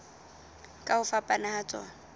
ka ho fapana ha tsona